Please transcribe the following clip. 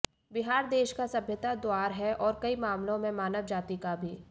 बिहार देश का सभ्यता द्वार है और कई मामलों में मानव जाति का भी